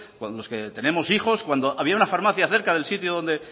cuando tenemos hijos cuando había una farmacia cerca del sitio donde